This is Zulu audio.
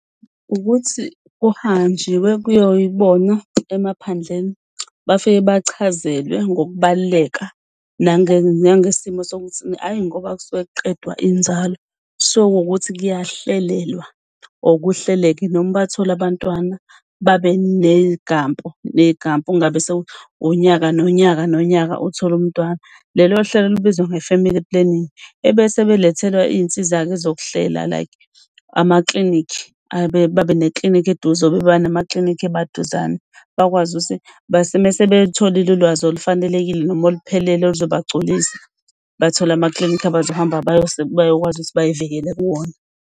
Ukuthi kuhanjiwe kubona emaphandleni. Bafike bachazelwe ngokubaluleka nangesimo sokuthi ayi ngoba kusuke kuqedwa inzalo. Kusuke kuwukuthi kuyahlelelwa or kuhleleke noma bathole abantwana babathole ngey'gampu ney'gampu. Kungabe sekunyaka nonyaka nonyaka uthole umntwana. Lelo hlelo lubizwa nge-family planning ebese belethelwa iy'nsiza-ke zokuhlela like amaklinikhi babe neklinikhi eduze. Babe namaklinikhi emaduzane, bakwazi ukuthi mese belutholile ulwazi olufanelekile noma oluphelele oluzobagculisa bathole amaklinikhi abazohamba bakwazi ukuthi bay'vikele kuwona.